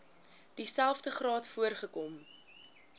dieselfde graad voorgekom